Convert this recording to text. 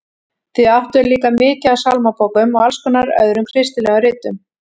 Þau áttu líka mikið af sálmabókum og alls konar öðrum kristilegum ritum.